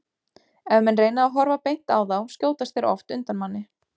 Ef menn reyna að horfa beint á þá skjótast þeir oft undan manni.